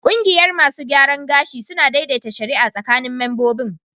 Kungiyar masu gyaran gashi suna daidaita shari'a tsakanin membobin